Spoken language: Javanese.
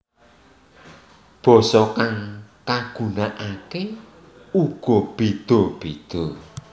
Basa kang kagunakake ugabbeda beda